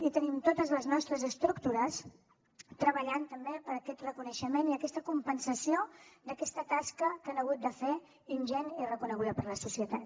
i tenim totes les nostres estructures treballant també per aquest reconeixement i aquesta compensació d’aquesta tasca que han hagut de fer ingent i reconeguda per la societat